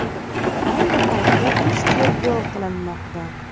Ayni paytda ish tergov qilinmoqda.